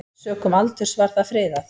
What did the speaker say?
Sökum aldurs var það friðað.